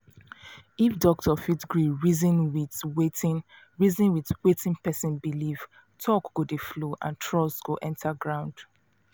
if doctor fit gree reason with wetin reason with wetin person believe talk go dey flow and trust go enter ground.